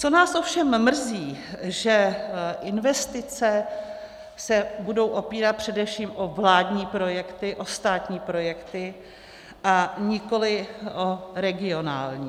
Co nás ovšem mrzí, že investice se budou opírat především o vládní projekty, o státní projekty, a nikoli o regionální.